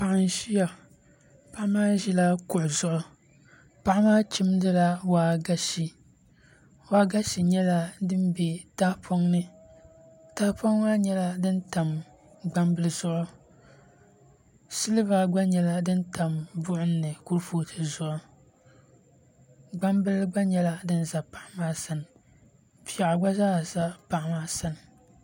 Paɣa n ʒiya paɣa maa ʒila kuɣu zuɣu paɣa maa chimdila waagashe waagashe nyɛla din bɛ tahapoŋ ni tahapoŋ maa nyɛla din tam gbambili zuɣu silba gba nyɛla din tam buɣum ni kurifooti zuɣu gbambili gba nyɛla din ʒɛ paɣa maa sani piɛɣu gba zaa za paɣa maa sani